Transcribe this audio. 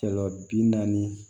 Sɔlɔ bi naani